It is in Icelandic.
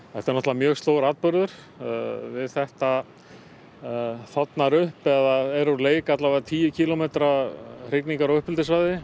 er náttúrulega mjög stór atburður við þetta þornar upp eða er úr leik allavega tíu kílómetra hrygningar og uppeldissvæði